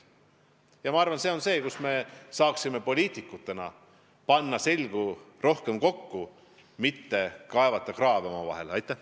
Ja ma arvan, et siin me saaksime poliitikutena seljad rohkem kokku panna, selle asemel et oma vahele kraave kaevata.